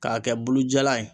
K'a kɛ bulujalan ye.